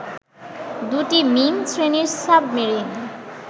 দু’টি মিং শ্রেণীর সাবমেরিন